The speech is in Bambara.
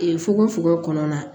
Ee fugofugo kɔnɔ na